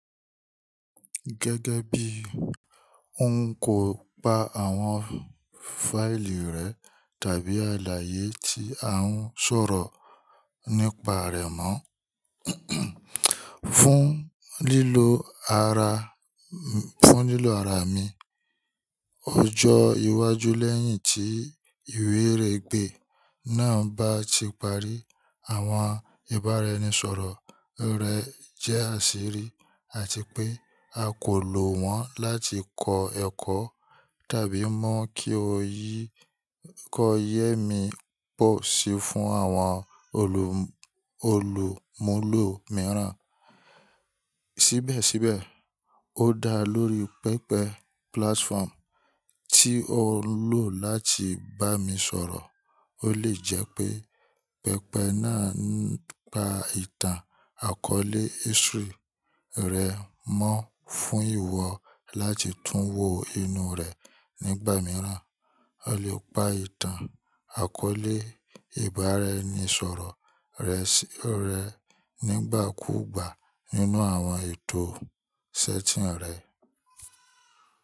Gẹ́gẹ́ bí o n kó pa àwọn fáìlì rẹ, tàbí àlàyé tí a ń sọ̀rọ̀ nípa rẹ mọ́ fún lílo ara, fún lílo ara mi, ọjọ́ iwájú lẹ́yìn tí ìwé ìrẹ́gbẹ́ náà bá ti parí, àwọn ìbára ẹnisọ̀rọ̀ rẹ jẹ́ àṣírí àti pé a kò lò wọ́n láti kọ ẹkọ tàbí mọ kí o yé, kí o yé mi bó ṣe fún àwọn olù, olùmúlò mìíràn. Síbẹ̀síbẹ̀, ó dá lórí pẹpẹ platform tí o ń lò láti bá mi sọ̀rọ̀. Ó lè jẹ́ pé pẹpẹ náà ń pa ìtàn àkọlé history rẹ mọ́ fún ìwọ láti tún wò inú rẹ nígbà mìíràn. O lè pa ìtàn àkọọ́lẹ̀ ìbáraẹnisọ̀rọ̀ rẹ sí, rẹ nígbàkúùgbà nínú àwọn ètò setting rẹ.